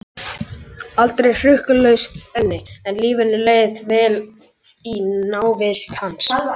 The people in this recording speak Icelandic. Aldrei hrukkulaust enni, en lífinu leið vel í návist hans.